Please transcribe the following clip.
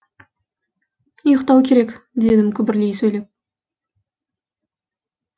ұйықтау керек дедім күбірлей сөйлеп